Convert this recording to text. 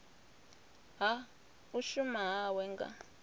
ha u shuma hawe nga